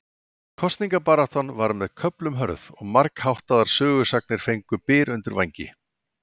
Kosningabaráttan var með köflum hörð og margháttaðar sögusagnir fengu byr undir vængi.